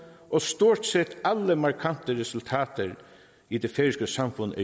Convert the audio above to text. og stort set alle markante resultater i det færøske samfund er